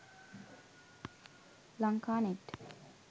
lanka net